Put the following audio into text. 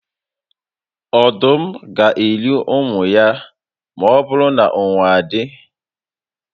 Ọdụm gá eri ụmụ ya ma ọbụrụ na ụnwụ adị